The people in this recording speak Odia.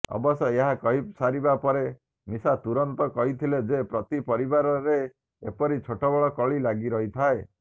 ଅବଶ୍ୟଏହା କହି ସାରିବା ପରେ ମିଶା ତୁରନ୍ତ କହିଥିଲେ ଯେ ପ୍ରତି ପରିବାରରେ ଏପରି ଛୋଟବଡ଼ କଳି ଲାଗିଥାଏ